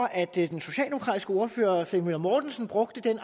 at den socialdemokratiske ordfører herre flemming møller mortensen brugte den